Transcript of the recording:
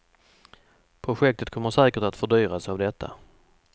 Projektet kommer säkert att fördyras av detta.